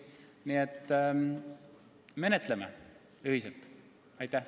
Nii et menetleme ühiselt!